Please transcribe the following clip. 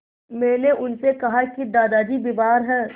मैंने उनसे कहा कि दादाजी बीमार हैं